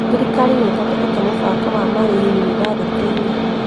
Thirikari nĩthondekete mũbango wa marĩhi yunibathĩtĩ-inĩ